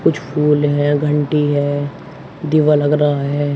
कुछ फूल हैं घंटी है। दिवा लग रहा है।